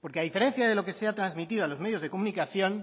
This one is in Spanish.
porque a diferencia de lo que se ha transmitido a los medios de comunicación